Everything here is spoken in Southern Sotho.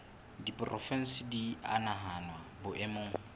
diporofensi di a nahanwa boemong